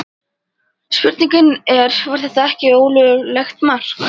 Spurningin er var þetta ekki ólöglegt mark?